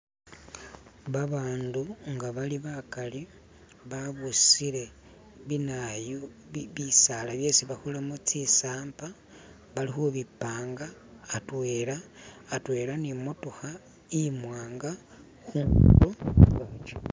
Babandu nga bali bakhali babusile binayu bi bisaala byesi bakolamo zisampa balikhubipanga hatwela hatwela nimotokha imwanaga khundulo khwayo